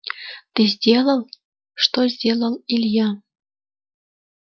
ты сделал что сделал илья